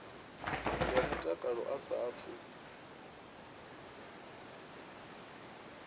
ya mutakalo a sa athu